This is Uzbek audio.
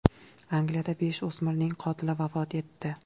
Angliyada besh o‘smirning qotili vafot etdi.